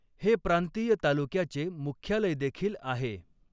हे प्रांतीय तालुक्याचे मुख्यालयदेखिल आहे.